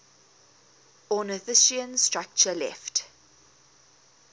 ornithischian structure left